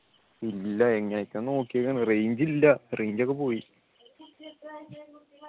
ഇല്ല എങ്ങനെയൊക്കെ നോക്കിയതാണ് range ഇല്ല range ഒക്കെ പോയി